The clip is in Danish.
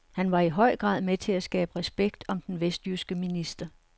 Han var i høj grad med til at skabe respekt om den vestjyske minister.